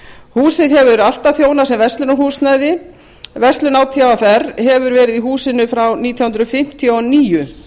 húsið hefur alltaf þjónað sem verslunarhúsnæði verslun átvr hefur verið í húsinu frá nítján hundruð fimmtíu og níu